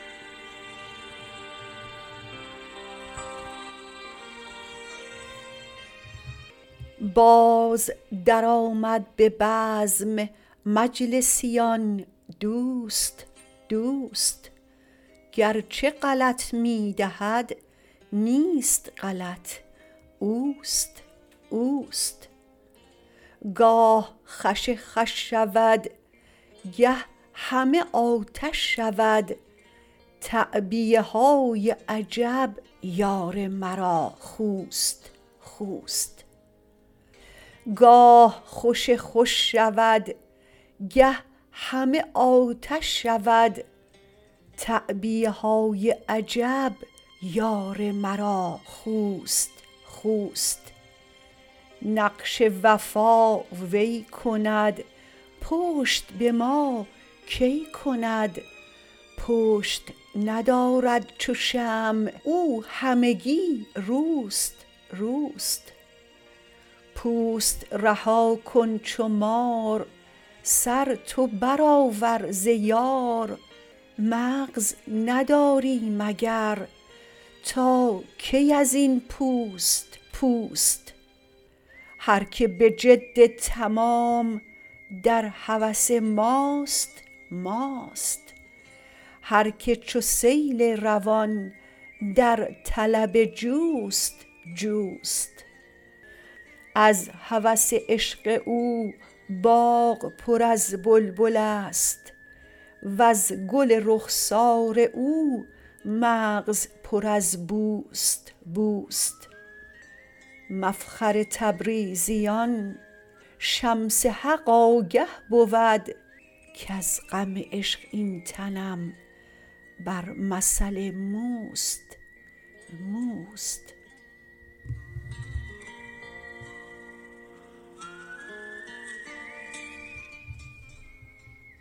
باز درآمد به بزم مجلسیان دوست دوست گرچه غلط می دهد نیست غلط اوست اوست گاه خوش خوش شود گه همه آتش شود تعبیه های عجب یار مرا خوست خوست نقش وفا وی کند پشت به ما کی کند پشت ندارد چو شمع او همگی روست روست پوست رها کن چو مار سر تو برآور ز یار مغز نداری مگر تا کی از این پوست پوست هر کی به جد تمام در هوس ماست ماست هر کی چو سیل روان در طلب جوست جوست از هوس عشق او باغ پر از بلبل ست وز گل رخسار او مغز پر از بوست بوست مفخر تبریزیان شمس حق آگه بود کز غم عشق این تنم بر مثل موست موست